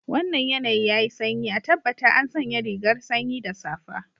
Wannan yanayi yayi sanyi, a tabbata an sanya rigar sanyi da safa.